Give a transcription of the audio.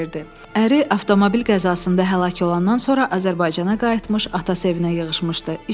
Əri avtomobil qəzasında həlak olandan sonra Azərbaycana qayıtmış, ata evinə yığışmışdı.